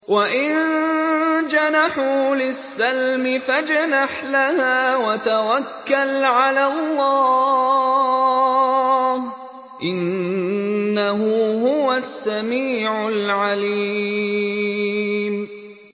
۞ وَإِن جَنَحُوا لِلسَّلْمِ فَاجْنَحْ لَهَا وَتَوَكَّلْ عَلَى اللَّهِ ۚ إِنَّهُ هُوَ السَّمِيعُ الْعَلِيمُ